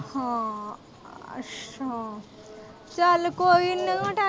ਹਾਂ ਅੱਛਾ ਚੱਲ ਕੋਈ ਨਾ।